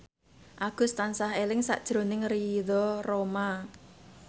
Agus tansah eling sakjroning Ridho Roma